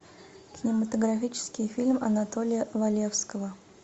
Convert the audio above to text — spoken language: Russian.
кинематографический фильм анатолия валевского